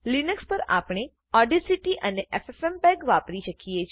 Linux પર આપને Audacityઓડાસીટી અને એફએફએમપેગ વાપરી શકીએ છે